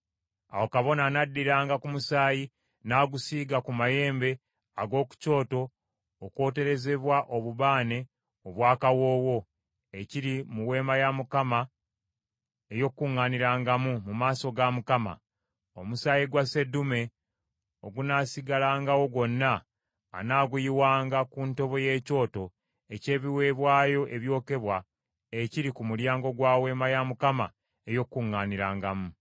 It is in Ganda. Awo kabona anaddiranga ku musaayi, n’agusiiga ku mayembe ag’oku kyoto okwoterezebwa obubaane obw’akawoowo, ekiri mu Weema ey’Okukuŋŋaanirangamu mu maaso ga Mukama . Omusaayi gwa sseddume ogunaasigalangawo gwonna, anaaguyiwanga ku ntobo y’ekyoto eky’ebiweebwayo ebyokebwa ekiri ku mulyango gwa Weema ey’Okukuŋŋaanirangamu.